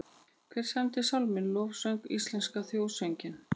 Hver samdi sálminn Lofsöng, íslenska þjóðsönginn?